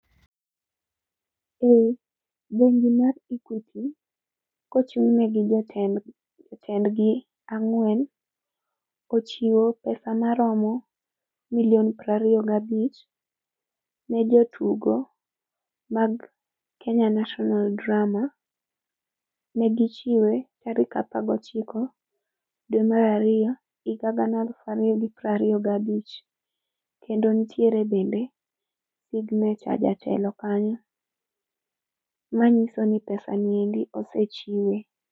Bengi mar Equity, kochung'negi gi jotend jotendgi ang'wen, ochiwo pesa maromo milion prario gabich ne jotugo mag Kenya National Drama. Negichiwe tarik apagochiko dwe marario, higa gana eluf ario gi prario gabich. Kendo ntiere bende signature jatelo kanyo, manyiso ni pesa niendi osechiwe.